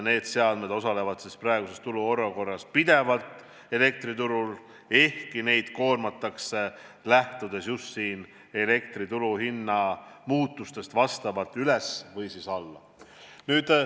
Need seadmed töötavad praeguses turuolukorras pidevalt, ehkki neid koormatakse lähtudes elektri turuhinna muutustest kas üles või alla.